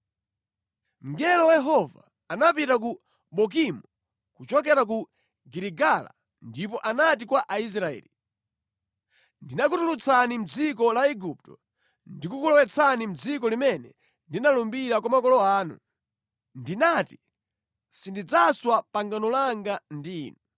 Mngelo wa Yehova anapita ku Bokimu kuchokera ku Giligala ndipo anati kwa Aisraeli, “Ndinakutulutsani mʼdziko la Igupto ndikukulowetsani mʼdziko limene ndinalumbira kwa makolo anu. Ndinati ‘Sindidzaswa pangano langa ndi inu,